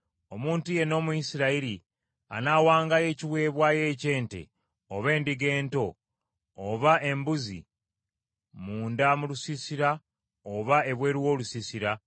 Omuntu yenna Omuyisirayiri anaawangayo ekiweebwayo eky’ente, oba endiga ento, oba embuzi, munda mu lusiisira oba ebweru w’olusiisira,